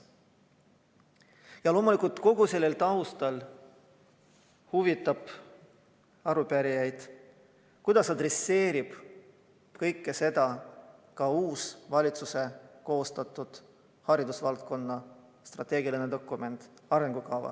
Ja loomulikult selle taustal huvitab arupärijaid, kuidas arvestab kõike seda ka uus valitsuse koostatud haridusvaldkonna strateegiline dokument, arengukava.